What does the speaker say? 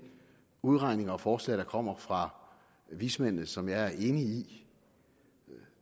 udregninger og forslag der kommer fra vismændene som jeg er enig i